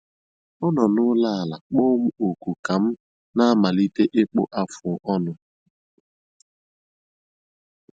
Ọ nọ n'ụlọ ala kpọọ m oku ka m na - amalite ịkpụ afụ ọnụ